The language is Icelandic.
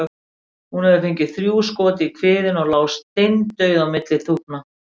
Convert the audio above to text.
Hún hafði fengið þrjú skot í kviðinn og lá steindauð á milli þúfna.